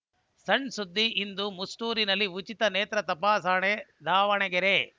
ಸಣ್‌ ಸುದ್ದಿ ಇಂದು ಮುಷ್ಟೂರಿನಲ್ಲಿ ಉಚಿತ ನೇತ್ರ ತಪಾಸಣೆ ದಾವಣಗೆರೆ